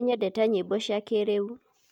nínyendete nyimbo cia kíríu